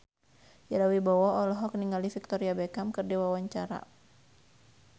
Ira Wibowo olohok ningali Victoria Beckham keur diwawancara